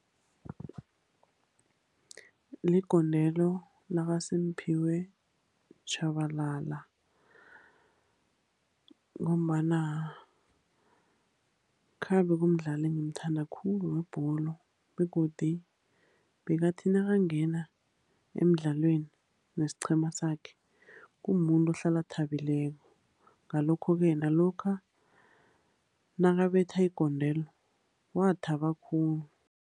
Ligondelo lakaSimphiwe Tshabalala, ngombana khabe kumdlali engimthanda khulu webholo, begodu bekathi nakangena emdlalweni nesiqhema sakhe, kumumuntu ohlala athabileko. Ngalokho-ke, nalokha nakabetha igondelo wathaba khulu.